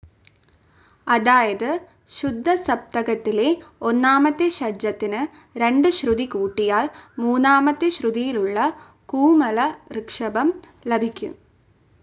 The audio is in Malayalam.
അതായത് ശുദ്ധസപ്തകത്തിലെ ഒന്നാമത്തെ ഷഡ്ജത്തിനു രണ്ടു ശ്രുതി കൂട്ടിയാൽ മൂന്നാമത്തെ ശ്രുതിയിലുള്ള കൂമല ഋഷഭം ലഭിക്കും.